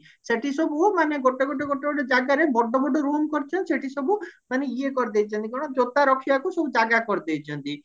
ସେଠି ସବୁ ମାନେ ଗୋଟେ ଗୋଟେ ଗୋଟେ ଗୋଟେ ଜାଗାରେ ବଡ ବଡ room କରିଚନ୍ତି ସେଠି ସବୁ ମାନେ ଇଏ କରିଦେଇଚନ୍ତି କଣ ଜୋତା ରଖିବାକୁ ସବୁ ଜାଗା କରିଦେଇଛନ୍ତି